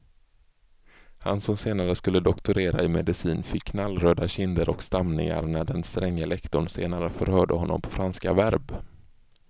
Han som senare skulle doktorera i medicin fick knallröda kinder och stamningar när den stränge lektorn senare förhörde honom på franska verb.